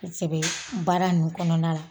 kosɛbɛ baara nun kɔnɔna la.